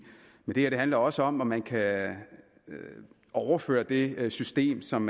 i det handler også om om man kan overføre det system som